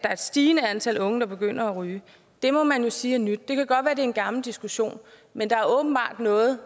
er et stigende antal unge der begynder at ryge det må man jo sige er nyt det kan godt er en gammel diskussion men der er åbenbart noget